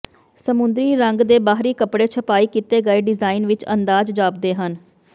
ਸਮੁੰਦਰੀ ਰੰਗ ਦੇ ਬਾਹਰੀ ਕਪੜੇ ਛਪਾਈ ਕੀਤੇ ਗਏ ਡਿਜ਼ਾਇਨ ਵਿੱਚ ਅੰਦਾਜ਼ ਜਾਪਦੇ ਹਨ